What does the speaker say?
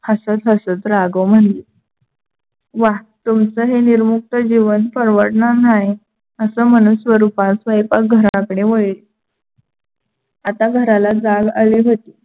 हसत हसत राघव म्हणले. वाह तुमच हे निरमुक्त जीवन परवडणार नाही. अस म्हणत स्वरूपा स्वयंपाकघराकडे वाडली. आता घराला जाग आली होती.